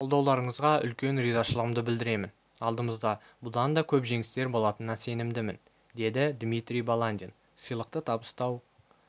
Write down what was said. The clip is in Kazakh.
қолдауларыңызға үлкен ризашылығымды білдіремін алдымызда бұдан да көп жеңістер болатынына сенімдімін деді дмитрий баландин сыйлықты табыстау